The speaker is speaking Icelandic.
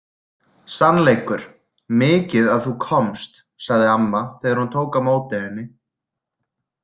Sannleikur Mikið að þú komst, sagði amma þegar hún tók á móti henni.